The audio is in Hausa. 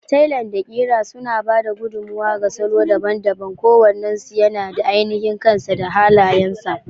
Tailan da ƙira suna ba da gudummawa ga salo daban-daban, kowannensu yana da ainihin kansa da halayensa.